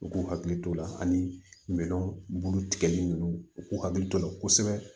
U k'u hakili t'o la ani minɛn bulu tigɛli ninnu u k'u hakili to o la kosɛbɛ